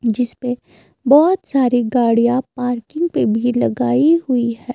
जिसपे बहोत सारी गाड़ियां पार्किंग पे भी लगाई हुई है।